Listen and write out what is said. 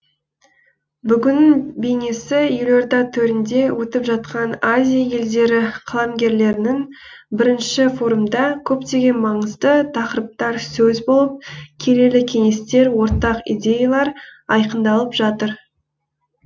бүгіннің бейнесі елорда төрінде өтіп жатқан азия елдері қаламгерлерінің бірінші форумында көптеген маңызды тақырыптар сөз болып келелі кеңестер ортақ идеялар айқындалып жатыр